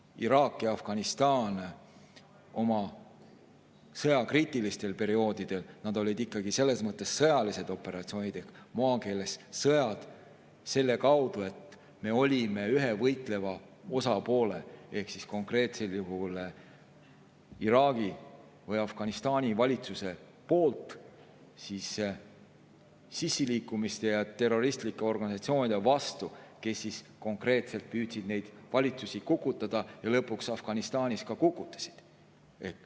Iraagis ja Afganistanis olid kriitilistel perioodidel ikkagi selles mõttes sõjalised operatsioonid ehk maakeeles sõjad, sest me olime ühe võitleva osapoole ehk konkreetsel juhul Iraagi või Afganistani valitsuse poolt ning sissiliikumiste ja terroristlike organisatsioonide vastu, nende vastu, kes püüdsid neid valitsusi kukutada ja lõpuks Afganistanis ka kukutasid.